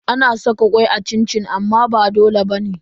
Ana saka kwai a cin-cin amma ba dole bane.